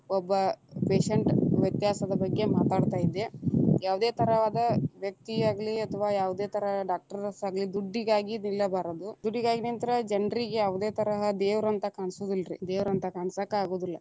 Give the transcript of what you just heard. ಒಬ್ಬ patient ವ್ಯತ್ಯಾಸದ ಬಗ್ಗೆ ಮಾತಾಡತಾ ಇದ್ದೆ, ಯಾವದೇ ತರವಾದ ವ್ಯಕ್ತಿಯಾಗಲಿ ಅಥವಾ ಯಾವದೇ ತರಾ doctors ಆಗಲಿ, ದುಡ್ಡಿಗಾಗಿ ನಿಲ್ಲಬಾರದು ದುಡ್ಡಿಗಾಗಿ ನಿಂತರ ಜನರಿಗೆ ಯಾವುದೇ ತರಾ ದೇವರ ಅಂತಾ ಕಾಣಸೊದಿಲ್ರಿ, ದೇವರ ಅಂತಾ ಕಾಣಸಾಕ ಆಗೋದಿಲ್ಲಾ.